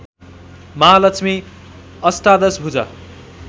महालक्ष्मी अष्टादश भुजा